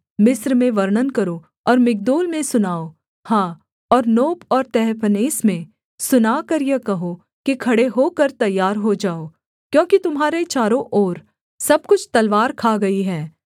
मिस्र में वर्णन करो और मिग्दोल में सुनाओ हाँ और नोप और तहपन्हेस में सुनाकर यह कहो कि खड़े होकर तैयार हो जाओ क्योंकि तुम्हारे चारों ओर सब कुछ तलवार खा गई है